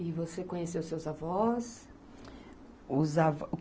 E você conheceu seus avós? Os avós